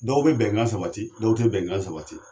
Dɔw be bɛnkan sabati dɔw te bɛnkan sabati